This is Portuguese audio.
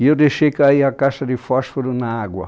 E eu deixei cair a caixa de fósforo na água.